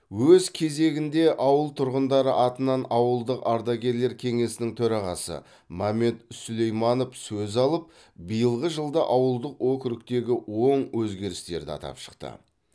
өз кезегінде ауыл тұрғындары атынан ауылдық ардагерлер кеңесінің төрағасы мамед сулейманов сөз алып биылғы жылда ауылдық округтегі оң өзгерістерді атап шықты